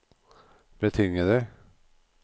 betingede